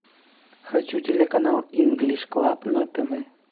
хочу телеканал инглиш клаб на тв